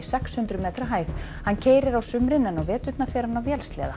sex hundruð metra hæð hann keyrir á sumrin en á veturna fer hann á vélsleða